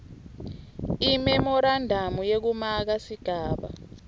imemorandamu yekumaka sigaba